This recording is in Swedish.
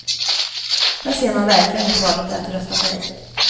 Där ser man verkligen hur farligt det är att rösta nej.